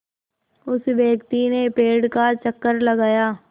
उस व्यक्ति ने पेड़ का चक्कर लगाया